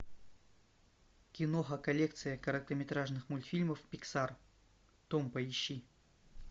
киноха коллекция короткометражных мультфильмов пиксар том поищи